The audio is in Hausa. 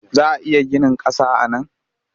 Za a iya ginin ƙasa a nan?